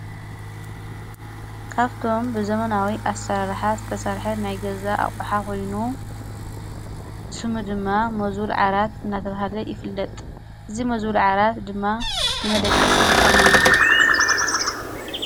ካብቶም ብዘመናዊ ኣሠራርሓ ዝተሠርሐ ናይ ገዛ ኣቝሓ ኾኑ ስሙ ድማ መዙል ዓራት እናተልሃለ ይፍለጥ እዝ መዙል ዓራት ድማ ንመደቀሲ ይጠቅመና::